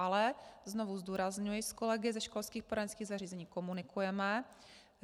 Ale znovu zdůrazňuji, s kolegy ze školských poradenských zařízeních komunikujeme.